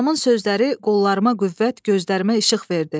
Anamın sözləri qollarıma qüvvət, gözlərimə işıq verdi.